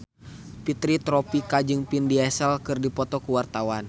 Fitri Tropika jeung Vin Diesel keur dipoto ku wartawan